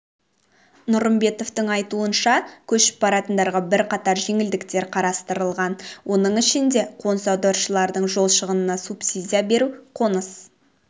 нұрымбетовтің айтуынша көшіп баратындарға бірқатар жеңілдіктер қарастырылған оның ішінде қоныс аударушылардың жол шығынына субсидия беру қоныс